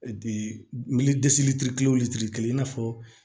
bi kelen i n'a fɔ